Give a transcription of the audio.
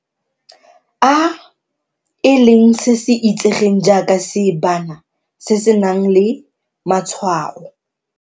A, e leng se se itsegeng jaaka seebana se se nang le matshwao.